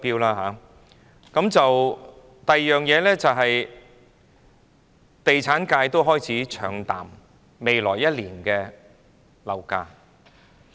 此外，地產界亦開始唱淡未來1年的樓價。